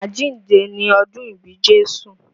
Àjíǹde ni ọ́dun ìbí Jésù